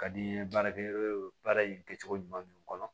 Ka di n ye baarakɛ baara in kɛcogo ɲuman ninnu kɔnɔ